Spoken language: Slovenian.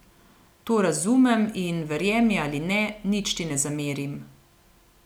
To razumem in verjemi ali ne, nič ti ne zamerim.